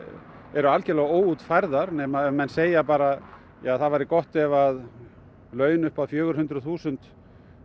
eru algjörlega óútfærðar nema menn segja bara það væri gott ef laun upp að fjögur hundruð þúsund